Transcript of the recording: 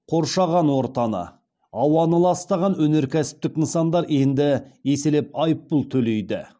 қоршаған ортаны ауаны ластаған өнеркәсіптік нысандар енді еселеп айыппұл төлейді